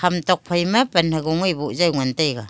hm thophe ma pan hago bujaw ley ngan taiga.